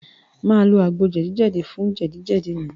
Màá lo àgbo jẹ̀dí fún jẹ̀díjẹ̀dí mi.